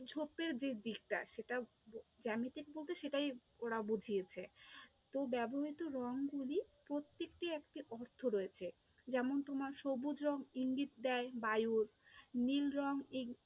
ঝোপের যে দিকটা সেটা জ্যামিতিক বলতে সেটাই ওরা বুঝিয়েছে, তো ব্যবহৃত রঙগুলির প্রত্যেকটির একটি অর্থ রয়েছে, যেমন তোমার সবুজ রঙ ইঙ্গিত দেয় বায়ুর, নীল রঙ